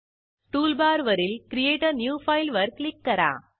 toolbar वरील create a new file वर click करा